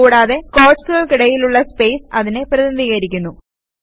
കൂടാതെ ക്വോട്ട്സുകൾക്കിടയിലുള്ള സ്പേസ് അതിനെ പ്രതിനിധീകരിക്കുന്നു